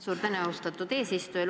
Suur tänu, austatud eesistuja!